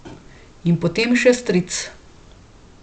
In potem še stric.